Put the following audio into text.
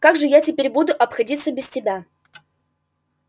как же я теперь буду обходиться без тебя